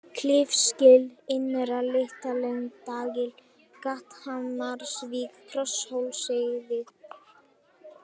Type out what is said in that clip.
Klifsgil, Innra Litlaendagil, Gathamarsvík, Krosshólsheiði